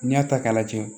N'i y'a ta k'a lajɛ